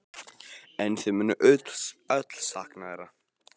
En þau munu öll sakna hennar.